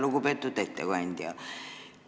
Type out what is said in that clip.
Lugupeetud ettekandja!